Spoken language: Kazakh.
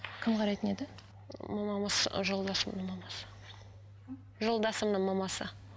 кім қарайтын еді мамамыз жолдасымның мамасы жолдасымның мамасы